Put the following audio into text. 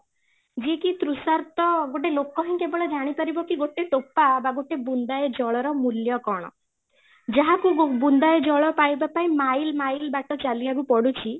ଯିଏ କି ତୃତୃଷାର୍ତ୍ତ ଗୋଟେ ଲୋକ ହିଁ କେବଳ ଜାଣି ପାରିବ କି ଗୋଟେ ଟୋପା ବା ଗୋଟେ ବୁନ୍ଦାଏ ଜଳର ମୂଲ୍ୟ କ'ଣ, ଯାହାକୁ ବୁନ୍ଦାଏ ଜଳ ପାଇବା ପାଇଁ mile mile ବାଟ ଚାଲିବାକୁ ପଡୁଛି